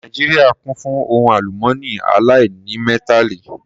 Nàìjíríà kún fún ohun àlùmọ́nì aláìnímẹ́tàlì